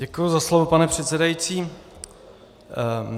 Děkuji za slovo, pane předsedající.